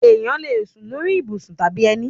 Ẹ̀yán lè sún lórí ibùsùn tàbí ẹni